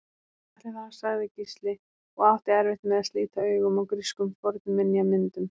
Ætli það sagði Gísli og átti erfitt með að slíta augun af grískum fornminjamyndum.